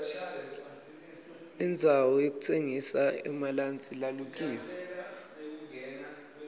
indzawo yokutsengisa emalansi lalukiwe